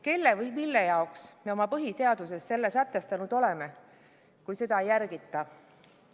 Kelle või mille jaoks me oma põhiseaduses selle sätestanud oleme, kui seda ei järgita?